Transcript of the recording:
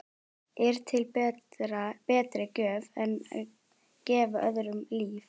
Er til betri gjöf en að gefa öðrum líf?